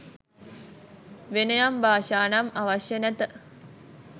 වෙනයම් භාෂා නම් අවශ්‍ය නැත